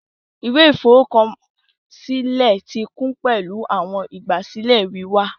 Ìwé ìforúkọsílẹ ti kún pẹlu awọn igbasilẹ wíwá